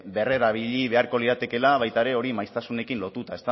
berrerabili beharko liratekeela baita ere hori maiztasunarekin lotuta